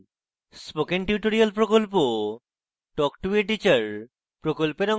spoken tutorial প্রকল্প talk to a teacher প্রকল্পের অংশবিশেষ